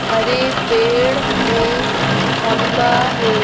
हरे पेड़ है खंबा है।